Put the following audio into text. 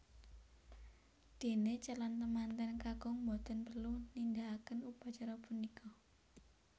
Dene calon temanten kakung boten perlu nindakaken upacara punika